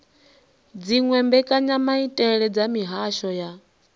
dziwe mbekanyamaitele dza mihasho ya